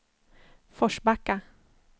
Forsbacka